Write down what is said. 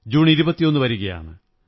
June 21 വരുകയാണ്